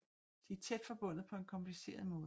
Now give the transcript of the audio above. De er tæt forbundet på en kompliceret måde